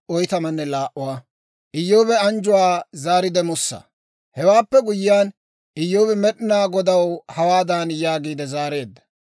Hewaappe guyyiyaan, Iyyoobi Med'inaa Godaw hawaadan yaagiide zaareedda;